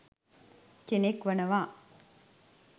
කෙනෙක් වනවා.